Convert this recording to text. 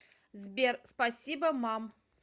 сбер спасибо мам